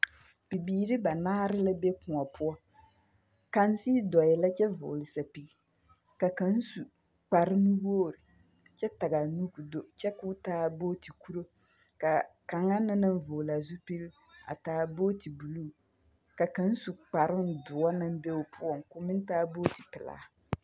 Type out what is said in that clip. Bibiiri banaare lɛ be kõɔ poɔ. Kaŋ sigi dɔɔɛ la kyɛ vɔɔle sapigi, ka kaŋ su kparnuwoor kyɛ tag'a nu k'o do kyɛ k'o taa booti kuro. K'a kaŋa na naŋ vɔɔl la a zupili taa booti buluu, ka kaŋ su kparoŋ doɔ naŋ be o poɔŋ k'o meŋ taa booti pelaa.